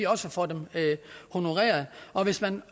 også får dem honoreret og hvis man